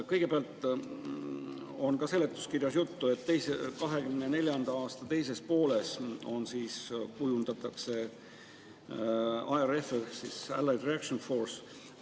Kõigepealt, ka seletuskirjas on juttu, et 2024. aasta teises pooles kujundatakse ARF ehk Allied Reaction Force.